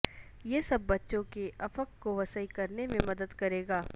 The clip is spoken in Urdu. یہ سب بچوں کے افق کو وسیع کرنے میں مدد کرے گا